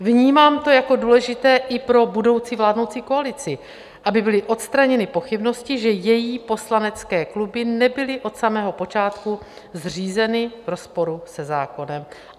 Vnímám to jako důležité i pro budoucí vládnoucí koalici, aby byly odstraněny pochybnosti, že její poslanecké kluby nebyly od samého počátku zřízeny v rozporu se zákonem.